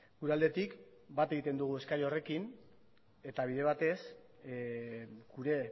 gure aldetik bat egiten dugu eskari horrekin eta bide batez gure